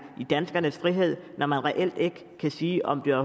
i danskernes frihed når man reelt ikke kan sige om det